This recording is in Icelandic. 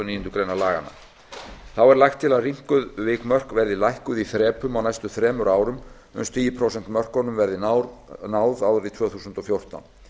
níundu grein laganna þá er lagt til að rýmkuð vikmörk verði lækkuð í þrepum á næstu þremur árum uns tíu prósent mörkunum verði náð árið tvö þúsund og fjórtán